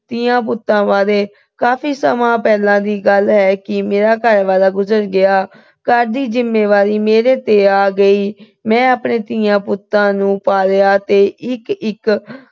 ਧੀਆਂ-ਪੁੱਤਾਂ ਬਾਰੇ। ਕਾਫੀ ਸਮਾਂ ਪਹਿਲਾਂ ਦੀ ਗੱਲ ਹੈ ਕਿ ਮੇਰਾ ਘਰ ਵਾਲਾ ਗੁਜਰ ਗਿਆ। ਘਰ ਦੀ ਜਿੰਮੇਵਾਰੀ ਮੇਰੇ ਤੇ ਆ ਗਈ। ਮੈਂ ਆਪਣੇ ਧੀਆਂ-ਪੁੱਤਾਂ ਨੂੰ ਪਾਲਿਆ ਤੇ ਇੱਕ-ਇੱਕ